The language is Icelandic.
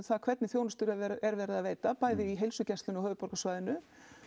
hvernig þjonustu er verið að veita bæði á heilsugæslunni á höfuðborgarsvæðinu